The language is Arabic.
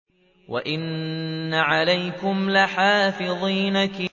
وَإِنَّ عَلَيْكُمْ لَحَافِظِينَ